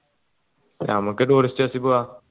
ഞമ്മക്ക് tourist bus ൽ പൂവ